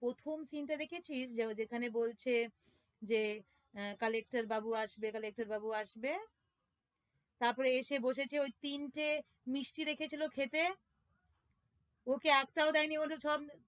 প্রথম scene দেখেছিস? যেখানে বলছে যে আহ collector বাবু আসবে collector বাবু আসবে তারপর এসে বসেছে ওই তিনটে মিষ্টি রেখেছিলো খেতে ওকে একটাও দেয়নি